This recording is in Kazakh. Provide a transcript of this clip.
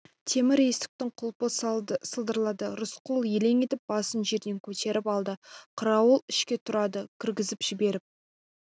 темір есіктің құлпы салдырлады рысқұл елең етіп басын жерден көтеріп алды қарауыл ішке тұрарды кіргізіп жіберіп